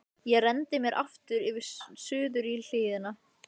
Ég renndi mér aftur suður í hlíðina.